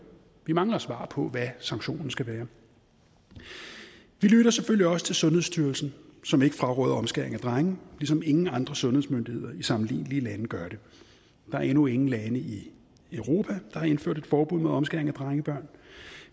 vi mangler svar på hvad sanktionen skal være vi lytter selvfølgelig også til sundhedsstyrelsen som ikke fraråder omskæring af drenge ligesom ingen andre sundhedsmyndigheder i sammenlignelige lande gør det der er endnu ingen lande i europa der har indført et forbud mod omskæring af drengebørn